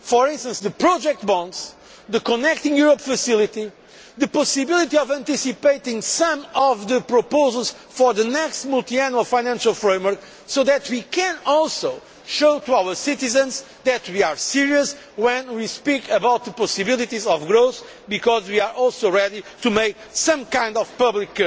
such as project bonds, the Connecting Europe Facility and the possibility of anticipating some of the proposals for the next Multiannual Financial Framework, so that we can also show our citizens that we are serious when we speak about the possibilities of growth and are ready to make some kind of public